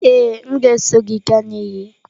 Ee, m ga-eso gị gaa na iyi.